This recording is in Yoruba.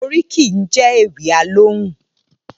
Óríkì jè Éwì Alóhùn